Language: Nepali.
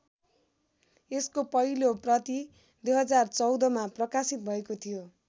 यसको पहिलो प्रति २०१४ मा प्रकाशित भएको थियो।